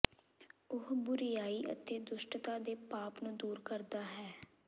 ਉਹ ਬੁਰਿਆਈ ਅਤੇ ਦੁਸ਼ਟਤਾ ਅਤੇ ਪਾਪ ਨੂੰ ਦੂਰ ਕਰਦਾ ਹੈ